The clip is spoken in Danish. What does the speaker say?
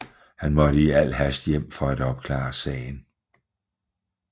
Han måtte i al hast hjem for at opklare sagen